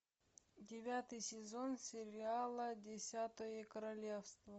девятый сезон сериала десятое королевство